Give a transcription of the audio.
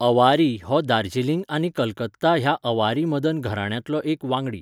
अवारी हो दार्जिलिंग आनी कलकत्ता ह्या अवारी मदन घराण्यांतलो एक वांगडी.